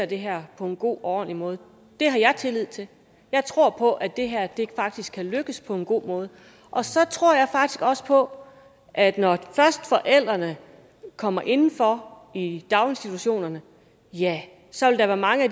det her på en god og ordentlig måde det har jeg tillid til jeg tror på at det her faktisk kan lykkes på en god måde og så tror jeg faktisk også på at når først forældrene kommer inden for i daginstitutionerne ja så vil der være mange af